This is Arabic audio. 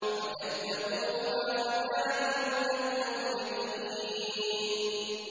فَكَذَّبُوهُمَا فَكَانُوا مِنَ الْمُهْلَكِينَ